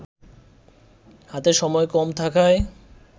হাতে সময় কম থাকায়